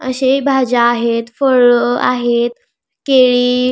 अशेही भाज्या आहेत फळ आहेत केळी --